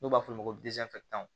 N'u b'a f'o ma ko